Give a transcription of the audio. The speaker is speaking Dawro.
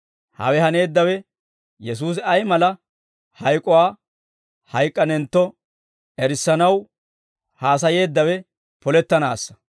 Hawe haneeddawe Yesuusi ay mala hayk'uwaa hayk'k'anentto erissanaw haasayeeddawe polettanaassa.